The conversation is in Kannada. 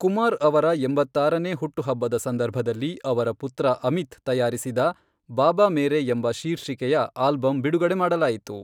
ಕುಮಾರ್ ಅವರ ಎಂಬತ್ತಾರನೇ ಹುಟ್ಟುಹಬ್ಬದ ಸಂದರ್ಭದಲ್ಲಿ, ಅವರ ಪುತ್ರ ಅಮಿತ್ ತಯಾರಿಸಿದ 'ಬಾಬಾ ಮೇರೆ' ಎಂಬ ಶೀರ್ಷಿಕೆಯ ಆಲ್ಬಮ್ ಬಿಡುಗಡೆ ಮಾಡಲಾಯಿತು.